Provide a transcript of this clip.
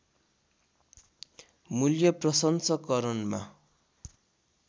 मूल्य प्रसंस्करणमा